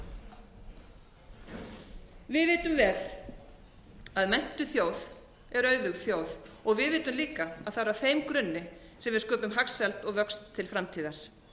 við vitum vel að menntuð þjóð er auðug þjóð við vitum líka að það var á þeim grunni sem við sköpum hagsæld og vöxt til framtíðar